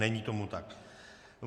Není tomu tak.